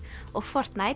og